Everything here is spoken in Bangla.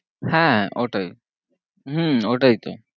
হ্যাঁ ওটাই হম ওটাই তো